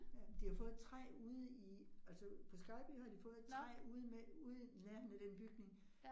Ja, men de har fået et træ ude i altså på Skejby har de fået et træ ude ude i nærheden af den bygning